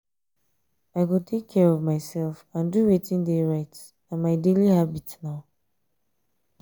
i go take care of myself and do wetin dey right na my daily habit now.